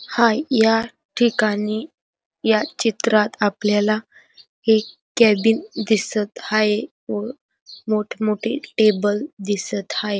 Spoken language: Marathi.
हाय याठिकाणी या चित्रात आपल्याला एक कॅबिन दिसत हाय व मोठे मोठे टेबल दिसत हाय.